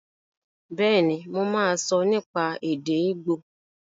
Bẹ́ẹ̀ni, mo máa sọ nípa èdè ígbò